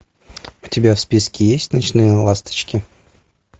у тебя в списке есть ночные ласточки